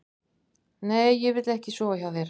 Nei, ég vil ekki sofa hjá þér.